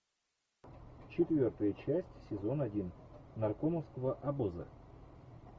четвертая часть сезон один наркомовского обоза